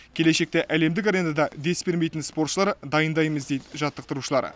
келешекте әлемдік аренада дес бермейтін спортшылар дайындаймыз дейді жаттықтырушылар